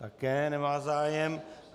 Také nemá zájem.